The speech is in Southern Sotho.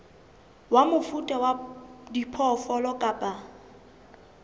wa mofuta wa diphoofolo kapa